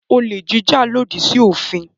Olè jíjà lòdì sí òfin.